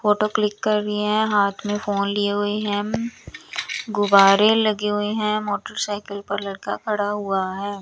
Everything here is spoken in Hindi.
फोटो क्लिक कर रही है। हाथ में फोन लिए हुए हैं। गुब्बारे लगे हुए हैं मोटरसाइकिल पर लड़का खड़ा हुआ है।